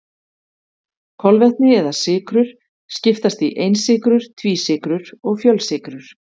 Kolvetni eða sykrur skiptast í einsykrur, tvísykrur og fjölsykrur.